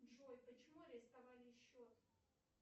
джой почему арестовали счет